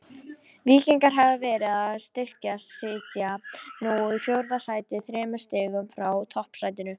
Víkingar hafa verið að styrkjast, sitja nú í fjórða sæti þremur stigum frá toppsætinu.